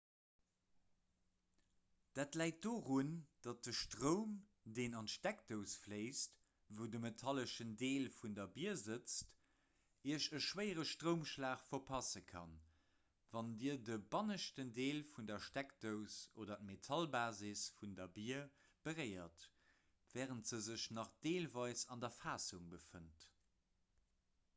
dat läit dorun datt de stroum deen an d'steckdous fléisst wou de metalleschen deel vun der bier sëtzt iech e schwéiere stroumschlag verpasse kann wann dir de banneschten deel vun der steckdous oder d'metallbasis vun der bier beréiert wärend se sech nach deelweis an der fassung befënnt